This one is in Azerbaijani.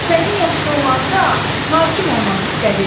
Sənin yaşda olanda, hakim olmaq istədim.